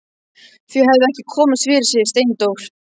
Þau hefðu ekki komist fyrir, segir Steindór.